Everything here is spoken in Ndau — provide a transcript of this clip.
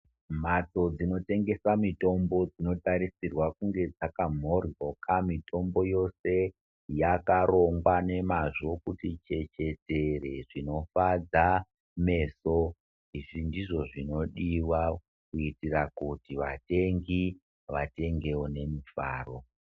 Mhatso dzinotengesa mitpmbo dzinotarisirwe kunge dzakamhoryoka. Mitombo yose yakarongwa nemazvo kuti chechetere zvinofadza meso. Izvi ndizvo zvinodiwa kuitira kuti vatengi vatengewo nemufaro.